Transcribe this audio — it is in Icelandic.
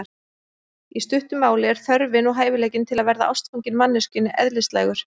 Í stuttu máli er þörfin og hæfileikinn til að verða ástfanginn manneskjunni eðlislægur.